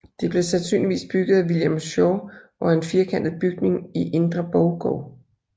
Det blev sandsynligvis bygget af William Schaw og er en firkantet bygning i indre borggård